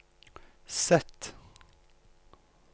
Z